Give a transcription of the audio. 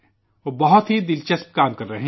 وہ بہت ہی دلچسپ کام کر رہے ہیں